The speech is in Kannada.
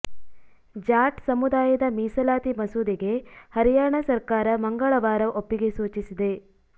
ಜಾಟ್ ಸಮುದಾಯದ ಮೀಸಲಾತಿ ಮಸೂದೆಗೆ ಹರ್ಯಾಣ ಸರ್ಕಾರ ಮಂಗಳವಾರ ಒಪ್ಪಿಗೆ ಸೂಚಿಸಿದೆ